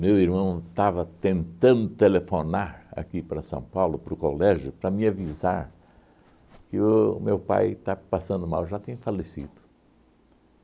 Meu irmão estava tentando telefonar aqui para São Paulo, para o colégio, para me avisar que o meu pai estava passando mal, já tinha falecido.